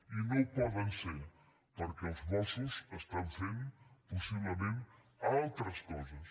i no ho poden ser perquè els mossos estan fent possiblement altres coses